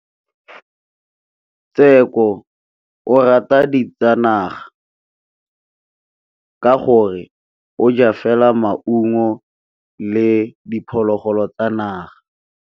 Tshekô o rata ditsanaga ka gore o ja fela maungo le diphologolo tsa naga.